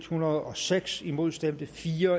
hundrede og seks imod stemte fire